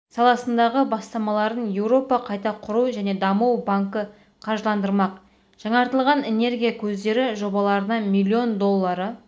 саласындағы бастамаларын еуропа қайта құру және даму банкі қаржыландырмақ жаңартылған энергия көздері жобаларына миллион доллары